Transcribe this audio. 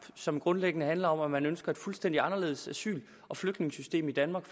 som grundlæggende handler om at man ønsker et fuldstændig anderledes asyl og flygtningesystem i danmark